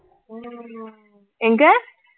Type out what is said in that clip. ஓ எங்க